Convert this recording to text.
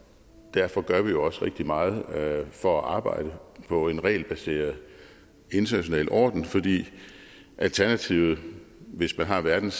derfor gør vi jo også rigtig meget for at arbejde på en regelbaseret international orden fordi alternativet hvis man har verdens